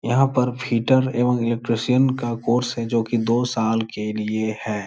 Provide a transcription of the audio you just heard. यहाँ पर फीटर एवं इलेक्ट्रीशियन का कोर्स है जोकि दो साल के लिए है ।